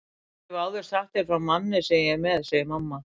Ég hef áður sagt þér frá manni sem ég er með, segir mamma.